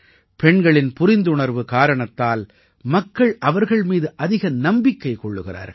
பெண்களின் புரிந்துணர்வு காரணத்தால் மக்கள் அவர்கள் மீது அதிக நம்பிக்கை கொள்கிறார்கள்